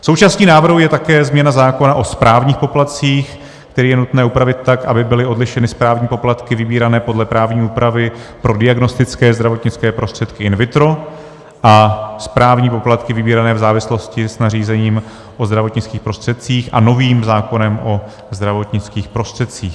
Součástí návrhu je také změna zákona o správních poplatcích, který je nutné upravit tak, aby byly odlišeny správní poplatky vybírané podle právní úpravy pro diagnostické zdravotnické prostředky in vitro a správní poplatky vybírané v závislosti s nařízením o zdravotnických prostředcích a novým zákonem o zdravotnických prostředcích.